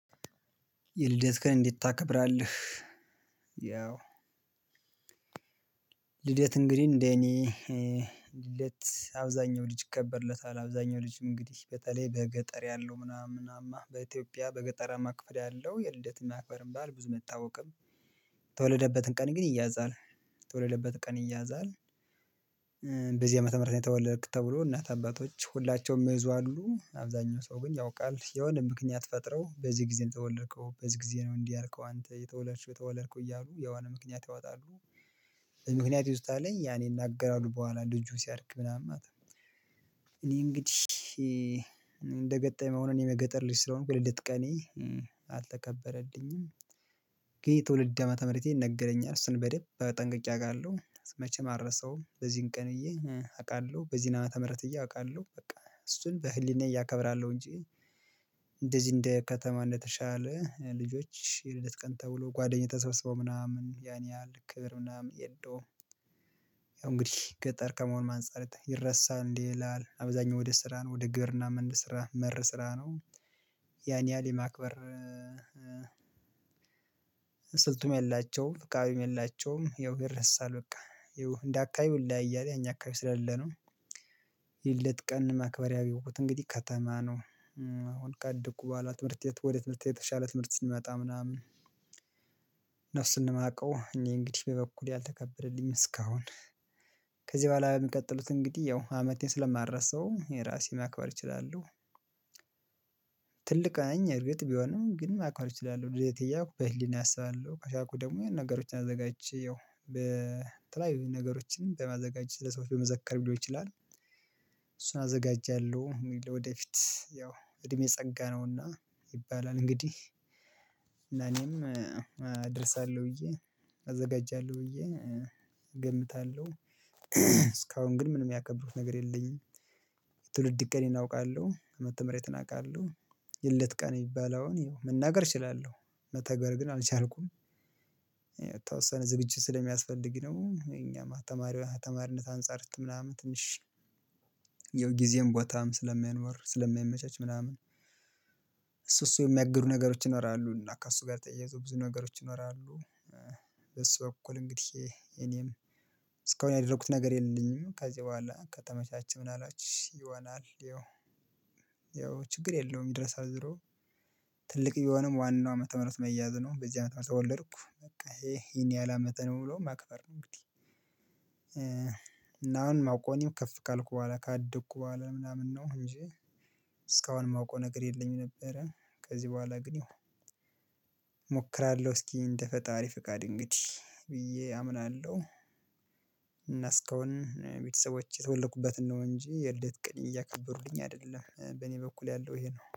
የልደት ቀን እንዴት ታከብራለህ? ያው ልደት እንግዲህ እንዴ እኔ ልደት አብዛኛው ልጅ ይከበርለታል አብዛኛው ልጅ እንግዲህ በተለይ በገጠር ያለው ምናምን ምናምን በኢትዮጵያ በገጠራማ ክፍል ያለው የልደት የማክበርም ባህል መታወቅም ተወለደበትን ቀን ግን ይያዛል ተወለደበትን ቀን ይያዛል። በዚህ ዓመተ ምህረት ነው የተወለድክ ተብሎ እናት አባቶች ሁላቸውም መይዙ አሉ አብዛኛው ሰው ግን ያውቃል የሆነ ምክንያት ፈጥረው በዚህ ጊዜ ነው የተወለድከው በዚህ ጊዜ ነው እንዲህ አርከው አንተ የተወለድከው የተወለድከው እያሉ የዋና ምክንያት ያወጣሉ። ምክንያት ይውስታልኝ ያኔ እናገራለሁ በኋላ ልጁን ሲያድግ ምናምን አታውቅም። እኔ እንግዲህ እንደገጠመው ነው እኔ በገጠር ልጅ ስለሆንኩ ልድት ቀኔ አልተከበረልኝም። የ ትወልድ ዓመተ ምህረቴን ነገረኛል ስንበደብ በጠንቅቄ አውቃለሁ መቼም አልረሳውም በዚህን ቀን እየኝ አውቃለሁ በዚህን አመት ምህረት ብዬ አውቃለሁ በቃ እሱን በህሊናዬ አከብራለሁ እንጂ። እንደዚህ እንደ ከተማ እንደተሻለ ልጆች የልደት ቀን ተብሎ ጓደኛ ተሰብስበው ምናምን ያን ያህል ክብር ምናምን የለውም። ያው እንግዲህ ገጠር ከመሆንም አንፃር ይረሳል እንዴ ይላል አብዛኛው ወደ ስራ ነው ወደ ግብርና መንድ ስራ መር ስራ ነው። ያን ያህል የማክበር ስልቱም የላቸውም ፍቃዊም የላቸውም ይረሳል በቃ ይኸው እንደ አካባቢው ይለያያል ያኛ አካባቢ ስለሌለ ነው። የልደት ቀን መክበሪያ ቢቦት እንግዲህ ከተማ ነው። አሁን ካደጉ በኋላ ትምህርት ወዴት ትምህርት የተሻለ ትምህርት ስንመጣ ምናምን። ማቀው እኔ እንግዲህ በበኩሌ አልተከበረልኝም እስካሁን። ከዚ በኋላ በሚቀጥሉት እንግዲህ ያው አመቴን ስለማረሳው እኔ ራሴ ማክበር እችላለሁ። ትልቅ ነኝ እርግጥ ቢሆንም ግን ማክበር እችላለሁ ልደቴ እያልኩ በህሊና አስባለሁ ከቻልኩ ደግሞ የነገሮችን አዘጋጅቼ ያው በተለያዩ ነገሮችንም በማዘጋጀት ለሰዎች በመዘከርም ይችላል። እሱን አዘጋጃለሁ ወደፊት ያው እድሜ ጸጋ ነውና ይባላል እንግዲህ አደርሳለሁ ብዬ አዘጋጃለሁ ብዬ ገምታለሁ። እስካሁን ግን ምንም ያከበርኩት ነገር የለኝም። ትውልድ ቀኔን አውቃለሁ መተምሬትን አውቃለሁ። የለት ቀን የሚባለውን መናገር እችላለሁ መተግበር ግን አልቻልኩም። የተወሰነ ዝግጅት ስለሚያስፈልግ ነው እኛም አተማሪውን አተማሪነት አንፃር ምናምን ትንሽ የጊዜም ቦታም ስለሚያኖር ስለሚያመቻች ምናምን። እሱ እሱ የሚያግዱ ነገሮች ይኖራሉ እና ከእሱ ጋር ተያይዞ ብዙ ነገሮች ይኖራሉ። በሱ በኩል እንግዲህ እኔም እስካሁን ያደረኩት ነገር የለኝም። ከዚህ በኋላ ከተመቻቸ ምን አላችሁ ይሆናል ይኸው። ያው ያው ችግር የለውም ይድረሳል ዞሮ። ትልቅ ቢሆንም ዋናው ዓመተ ምህረት መያዝ ነው በዚህ ዓመተ ምህረት ተወለድኩ በቃ ይሄን ያህል አመቴ ነው ብሎ ማክበር ነው እንግዲህ። እና አሁን ማወቅው ወይም ከፍ ካልኩ በኋላ ካደግኩ በኋላ ምናምን ነው እንጂ። የማውቀው ነገር የለኝም ነበረ ከዚህ በኋላ ግን እሞክራለሁ ሞክራለሁ እስኪ እንደ ፈጣሪ ፍቃድ እንግዲህ ብዬ አምናለሁ። እና እስካሁን ቤተሰቦቼ የተወለኩበትን ነው እንጂ የልደት ቀኔን እያከበሩልኝ አይደለም በኔ በኩል ያለው ይሄ ነው።